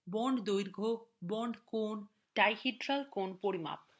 bond দৈর্ঘ্য bond কোণ dihedral কোণ পরিমাপ